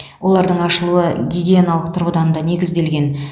олардың ашылуы гигиеналық тұрғыдан да негізделген